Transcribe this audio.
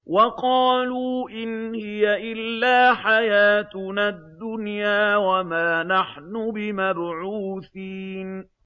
وَقَالُوا إِنْ هِيَ إِلَّا حَيَاتُنَا الدُّنْيَا وَمَا نَحْنُ بِمَبْعُوثِينَ